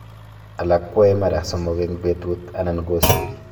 alak kwai mara somok eng petut anai kosiri